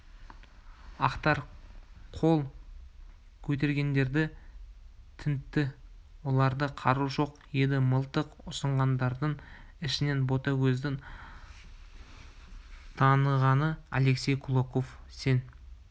ақтар қол көтергендерді тінтті оларда қару жоқ еді мылтық ұсынғандардың ішінен ботагөздің танығаны алексей кулаков сен